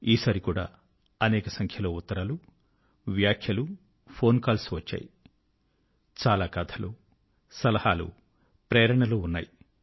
ఈ సారి కూడా అనేక సంఖ్య లో ఉత్తరాలు వ్యాఖ్యలు ఫోన్ కాల్స్ వచ్చాయి చాలా కథలు సలహాలు ప్రేరణలు ఉన్నాయి